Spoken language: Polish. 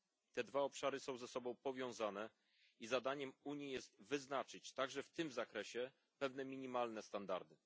Te dwa obszary są ze sobą powiązane i zadaniem Unii jest wyznaczyć także w tym zakresie pewne minimalne standardy.